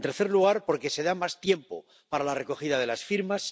En tercer lugar, porque se da más tiempo para la recogida de las firmas.